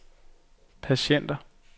patienter